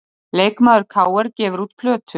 Leikmaður KR gefur út plötu